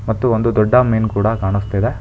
ಮತ್ತು ಒಂದು ದೊಡ್ಡ ಮೀನು ಕೂಡ ಕಾಣಿಸುತ್ತಿದೆ.